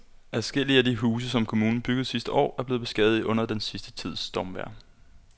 Adskillige af de huse, som kommunen byggede sidste år, er blevet beskadiget under den sidste tids stormvejr.